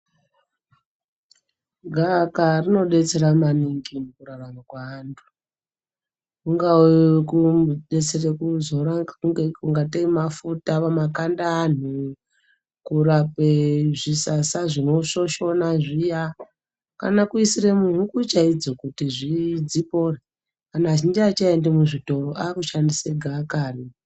Gaaka rinodetsera maningi mukurarama kweantu kungave kudetsere kuzora kungatei mafuta makanda eanhu kurape zvisasa zvinoshoshona zviya kana kuisire muhuku chaidzo dzipone anhu azhinji aachaendi muzvitoro akushandisa gaakari.